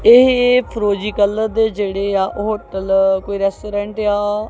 ਇਹ ਫਿਰੋਜ਼ੀ ਕਲਰ ਦੇ ਜਿਹੜੇ ਆ ਉਹ ਹੋਟਲ ਕੋਈ ਰੈਸਟੋਰੈਂਟ ਆ।